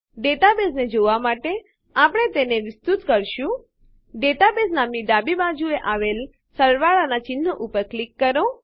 ડેટાબેઝને જોવાં માટે આપણે તેને વિસ્તૃત કરશું ડેટાબેઝ નામની ડાબી બાજુએ આવેલ સરવાળાનાં ચિહ્ન ઉપર ક્લિક કરો